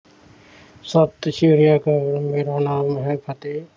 ਸਤਸ਼੍ਰੀਅਕਾਲ ਮੇਰਾ ਨਾਮ ਹੈ ਫ਼ਤਹਿ